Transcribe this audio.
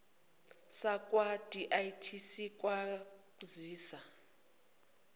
sakwa dti singakusiza